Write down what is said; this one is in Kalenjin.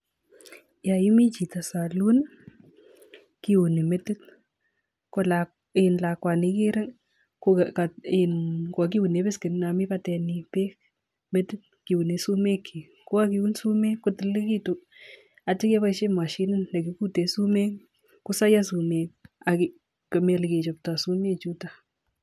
Yaimii chito [saloon] kiuni metit. Kolakwani igere kwakiune beskenit nami batet nyi beek metit kiune sumeek kyik. Kokakeun sumeek kotililitu atye keboishe mashinit nekikutee sumeek kosoiyo sumeek ak komi ole kichoptai sumeek chutok.